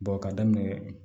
ka daminɛ